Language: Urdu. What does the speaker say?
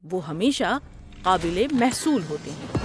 وہ ہمیشہ قابل محصول ہوتے ہیں۔